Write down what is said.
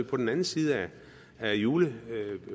på den anden side af julepausen